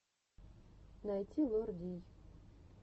найти лор дий